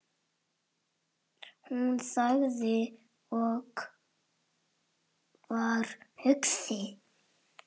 Hún þagði og var hugsi.